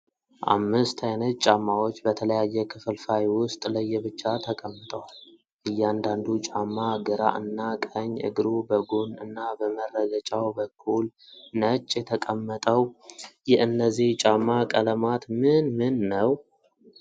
አምስት አይነት ጫማዎች በተለያየ ክፍልፋይ ዉስጥ ለየብቻ ተቀምጠዋል። እያንዳንዱ ጫማ ግራ እና ቀኝ እግሩ በጎን እና በመረገጫው በኩል ነው የተቀመጠው። የእነዚህ ጫማ ቀለማት ምን ምን ነው?